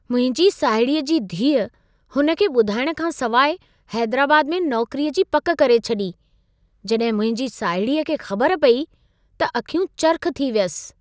मुंहिंजी साहिड़ीअ जी धीअ हुन खे ॿुधाइण खां सवाइ हैदराबाद में नौकरीअ जी पक करे छॾी। जॾहिं मुंहिंजी साहिड़ीअ खे ख़बर पई त अखियूं चरिख़ थी वियसि।